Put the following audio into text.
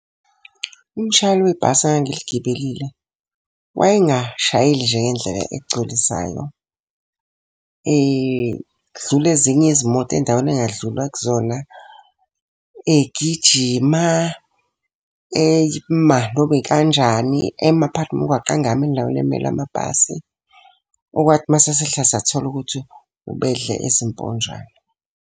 Umshayeli webhasi engangiligibelile wayengashayeli nje ngendlela egculisayo. Edlula ezinye izimoto endaweni ekungadlulwa kuzona. Egijima ema noma ikanjani. Ema phakathi nomgwaqo engami endaweni emela amabhasi. Okwathi uma sesehla sathola ukuthi ubendle ezimponjwana.